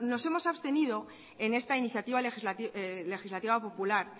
nos hemos abstenido en esta iniciativa legislativa popular